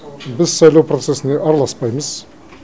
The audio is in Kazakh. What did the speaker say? біз сайлау процесіне араласпаймыз